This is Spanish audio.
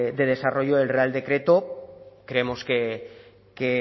de desarrollo del real decreto creemos que